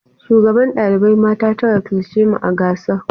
Shugaban ɗalibai na mata ta wakilci mu a gasar.